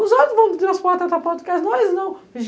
Os outros vão transportar até a porta do caso, nós não.